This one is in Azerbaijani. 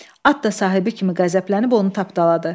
At da sahibi kimi qəzəblənib onu tapdaladı.